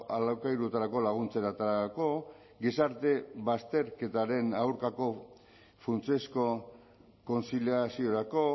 alokairutarako laguntzetarako gizarte bazterketaren aurkako funtsezko kontziliaziorako